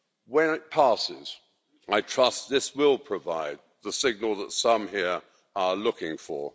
When it passes, I trust this will provide the signal that some here are looking for.